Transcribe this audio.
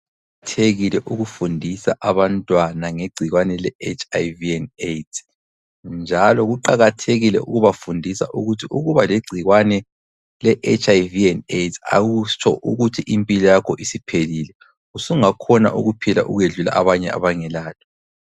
Kuqakathekile ukufundisa abantwana ngegcikwane le- HIV and AIDS. Njalo kuqakathekile ukubafundisa ukuthi ukubalegcikwane le HIV and AIDS akutsho ukuthi impilo yakho isiphelile. Usungakhona ukuphila ukwedlula abanye abangelalo.